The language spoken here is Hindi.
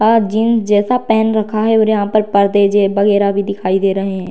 और जिन्स जैसा पहेन रखा है और यहाँ पर पर्दे जे वगेरा भी दिखाई दे रहे हैं।